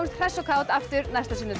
hress og kát aftur næsta sunnudag